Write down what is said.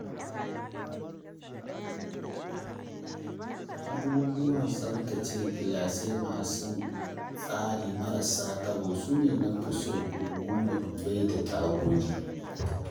Abubuwan tsabtace gilashi masu tsari marasa taɓo sune na fi so domin madubai da tagogi.